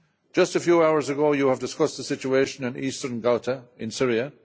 Just a few hours ago, this House discussed the situation in Eastern Ghouta in Syria.